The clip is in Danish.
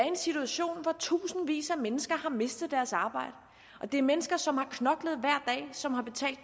en situation hvor tusindvis af mennesker har mistet deres arbejde det er mennesker som har knoklet og som har betalt